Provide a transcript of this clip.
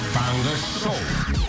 таңғы шоу